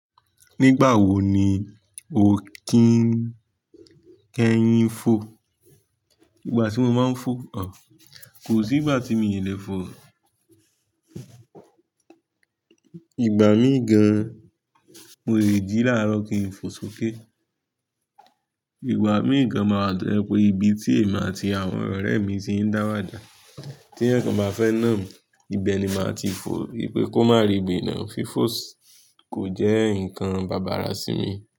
Nígbà wo ni o kín kẹ́yin fò? Nígbà tí mo máa ń fò o, kò sí ìgbà tí mi lè fò. Ìgbà míì gan, mo lè jí láàárọ̀ kí n fò sókè. Ìgbà míì gan máa wa tọ́ ye pé ibi tí èmi àti àwọn ọ̀rẹ́ mi ti ń dáwà dà, tí ẹnìkan bá fẹ́ nà mí, ibẹ̀ ni màá ti fò yí pé kó má rí bìnà. Fífòs kò jẹ́ nǹkan bàbàra sí mi.